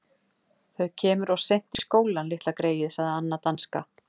Þau kemur of seint í skólinn, litla greyið sagði Anna danska.